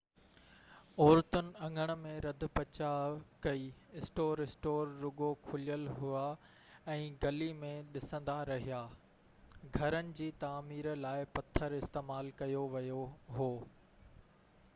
عورتن اڱڻ ۾ رڌ پچاءُ ڪئي؛ اسٽور اسٽور رڳو کليل هئا ۽ گلي ۾ ڏسندا رهيا. گهرن جي تعمير لاءِ پٿر استعمال ڪيو ويو هو.b4